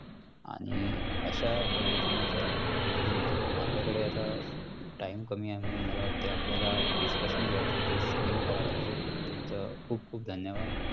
आणि अशा पद्धतीनं तर बिलकुल नाही. आपल्याकडे आता time कमी आहे म्हणून मला वाटतंय आपल्याला discussion जे आहे ते इथेच end करावं लागेल. तुमचं खूप खूप धन्यवाद.